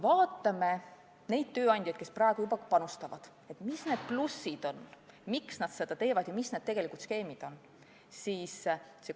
Vaatame neid tööandjaid, kes praegu juba panustavad, et mis need plussid on, miks nad seda teevad, ja mis on tegelikult need skeemid.